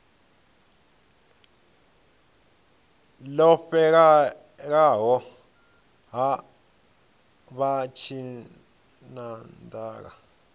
ḽo fhelela ha vha tshinanḓala